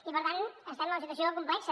i per tant estem en una situació complexa